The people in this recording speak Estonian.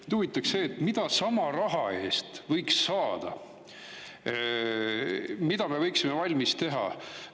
Mind huvitaks see, mida sama raha eest võiks saada, mida me võiksime valmis teha.